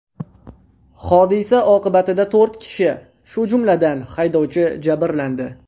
Hodisa oqibatida to‘rt kishi, shu jumladan haydovchi jabrlandi.